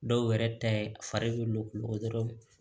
Dɔw yɛrɛ ta ye a fari bɛ lo kulukoro dɔrɔn